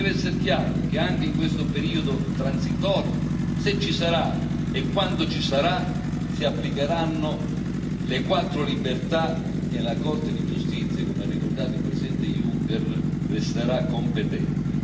E deve esser chiaro che anche in questo periodo transitorio, se ci sarà e quando ci sarà, si applicheranno le quattro libertà e la Corte di giustizia, come ha ricordato il presidente Juncker, resterà competente.